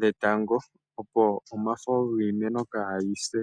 dhetango opo omafo giimeno kaayise.